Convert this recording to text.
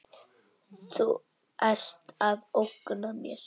Þú ert að ógna mér.